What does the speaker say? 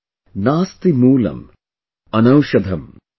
""नास्तिमूलम्अनौषधम्" " "Nasti Moolam Anoushadham"